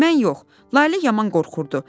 Mən yox, Lalə yaman qorxurdu.